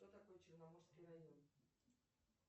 что такое черноморский район